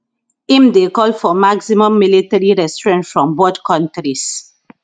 im dey call for maximum military restraint from both kontris